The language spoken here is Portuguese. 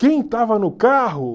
Quem estava no carro?